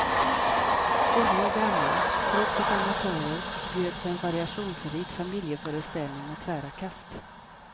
Unga och gamla, proffs och amatörer bjöd på en variationsrik familjeföreställning med tvära kast.